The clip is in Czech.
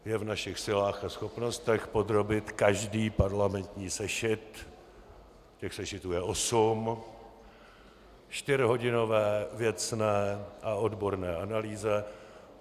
Je v našich silách a schopnostech podrobit každý parlamentní sešit - těch sešitů je osm - čtyřhodinové věcné a odborné analýze.